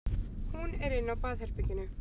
Hún er inni á baðherberginu.